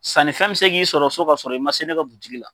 Sannifɛn bɛ se k'i sɔrɔ so ka sɔrɔ i man se ne ka butigi la.